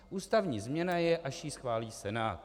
Ústavní změna je, až ji schválí Senát.